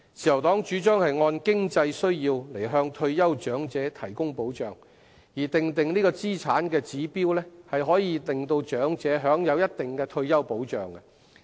自由黨主張按經濟需要向退休長者提供保障，而訂定資產指標可讓長者享有一定的退休保障。